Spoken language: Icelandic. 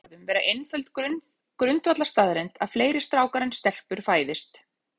Það virðist því með öðrum orðum vera einföld grundvallarstaðreynd að fleiri strákar en stelpur fæðist.